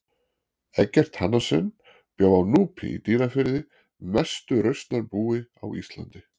Eggert Hannesson bjó á Núpi í Dýrafirði mestu rausnarbúi á Íslandi.